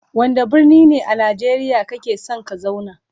Wanda birni ne a nageriya kake son ka zauna?